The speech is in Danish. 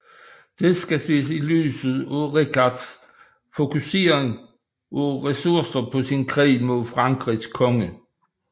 Det skal ses i lyset af Richards fokusering af ressourcer på sin krig mod Frankrigs konge